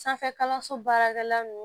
Sanfɛ kalanso baarakɛla nunnu